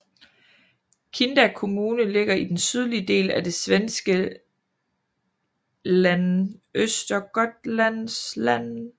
Kinda kommune ligger i den sydlige del af det svenske län Östergötlands län